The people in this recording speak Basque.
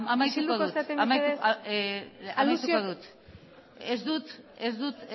isilduko zarete mesedez amaituko dut ez dut